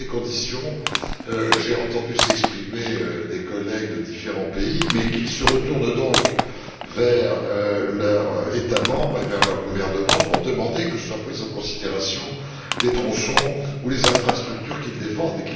Dans ces conditions, j'ai entendu s'exprimer des collègues de différents pays. Mais qu'ils se retournent donc vers leur État membre et vers leur gouvernement pour demander que soient pris en considération les tronçons ou les infrastructures qu'ils défendent!